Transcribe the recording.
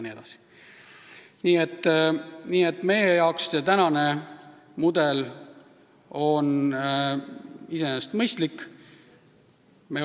Meie arvates on praegune mudel iseenesest mõistlik.